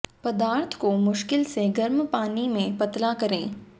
पदार्थ को मुश्किल से गर्म पानी में पतला करें